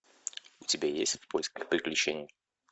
у тебя есть в поисках приключений